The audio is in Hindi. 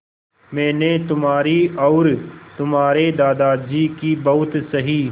मैंने तुम्हारी और तुम्हारे दादाजी की बहुत सही